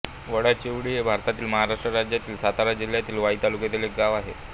वडाचीवाडी हे भारतातील महाराष्ट्र राज्यातील सातारा जिल्ह्यातील वाई तालुक्यातील एक गाव आहे